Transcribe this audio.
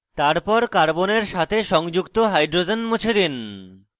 তারপর carbon সাথে সংযুক্ত hydrogen মুছে দিন